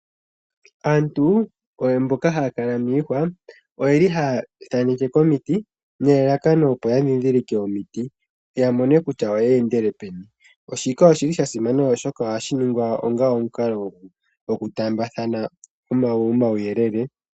Aantu mboka haya kala miihwa oye li haya thaaneke komiti, nelalakano opo ya ndhindhilike omiti, yamone kutya oye endele peni. Shika oshi li sha simana oshoka ohashi ningwa onga omukalo gwoku taambathana omauyelele.